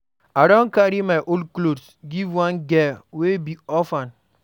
I don carry my old clothes give one girl wey be orphan.